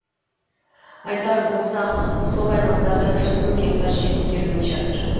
айтар болсақ сол аймақтарда үш жүз мың гектар жер игерілмей жатыр